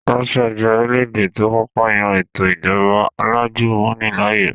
Russia jẹ́ orílẹ̀-èdè tó kọ́kọ́ yan ètò ìjọba alájùmọ̀ni láàyò